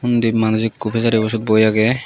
unddi manuj eeku pejaribu sot boi agey.